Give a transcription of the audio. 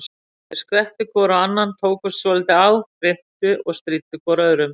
Þeir skvettu hvor á annan, tókust svolítið á, hrintu og stríddu hvor öðrum.